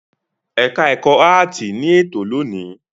Ẹ̀ka-ẹ̀kọ́ áátì ní ètò lónìí.